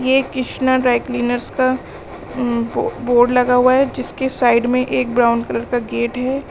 ये Krishna dry cleaners का उम्म बो बोर्ड लगा हुआ है जिसके साइड में एक ब्राउन कलर का गेट है।